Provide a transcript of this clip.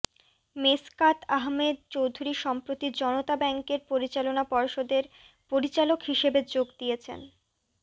মেশকাত আহমেদ চৌধুরী সম্প্রতি জনতা ব্যাংকের পরিচালনা পর্ষদের পরিচালক হিসেবে যোগ দিয়েছেন